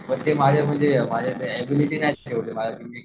पण ते माझे म्हणजे माझी ऍबिलिटी नाही तेवढी